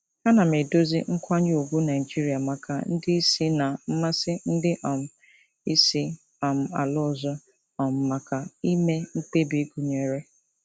Ana m edozi nkwanye ùgwù Naijiria maka ndị isi na mmasị ndị um isi um ala ọzọ um maka ime mkpebi gụnyere.